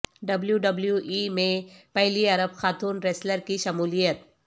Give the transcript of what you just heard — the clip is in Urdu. ڈبلیو ڈبلیو ای میں پہلی عرب خاتون ریسلر کی شمولیت